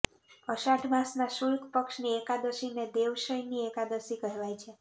અષાઢ માસના શુલ્ક પક્ષની એકાદશીને દેવશયની એકાદશી કહેવાય છે